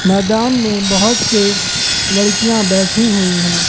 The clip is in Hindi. मैदान में बहोत से लड़कियां बैठी हुई है।